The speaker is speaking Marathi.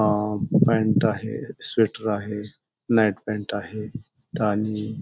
अ पॅन्ट आहे स्वेटर आहे नाईट पॅन्ट आहे आणि --